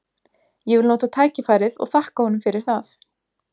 Ég vil nota tækifærið og þakka honum fyrir það.